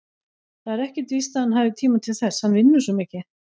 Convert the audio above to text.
Það er ekkert víst að hann hafi tíma til þess, hann vinnur svo mikið.